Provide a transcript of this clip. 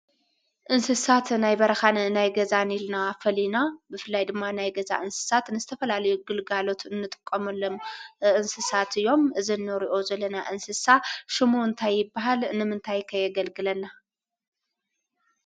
እንስሳት ናይ በረኻን ናይ ገዛን ኢልና ፈሊና ብፍላይ ድማ ናይ ገዛ እንስሳት ንዝተፈላለዩ ግልጋሎት እንጥቀመሎም እንስሳት እዮም። እዚ እንሪኦ ዘለና እንስሳ ሽሙ እንታይ ይብሃል? ንምንታይ ከ የገልግለና?